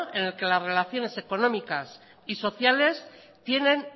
en el que las relaciones económicas y sociales tienen